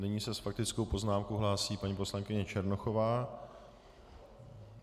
Nyní se s faktickou poznámkou hlásí paní poslankyně Černochová.